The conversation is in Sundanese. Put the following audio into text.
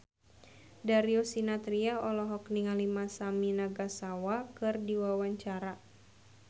Darius Sinathrya olohok ningali Masami Nagasawa keur diwawancara